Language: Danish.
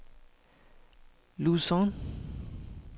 Luzon